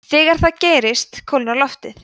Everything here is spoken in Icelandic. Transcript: þegar það gerist kólnar loftið